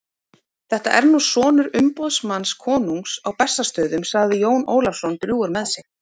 Þetta er nú sonur umboðsmanns konungs á Bessastöðum, sagði Jón Ólafsson drjúgur með sig.